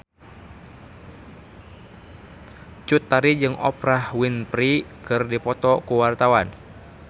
Cut Tari jeung Oprah Winfrey keur dipoto ku wartawan